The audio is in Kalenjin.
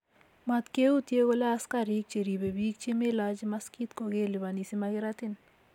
mat kee utie kole askarik cheripe bik che malachi maskit ko kelipani simakiratin